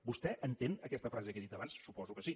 vostè entén aquesta frase que he dit abans suposo que sí